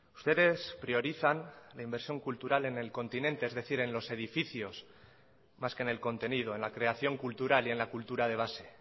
ustedes priorizan la inversión cultural en el continente es decir en los edificios más que en el contenido en la creación cultural y en la cultura de base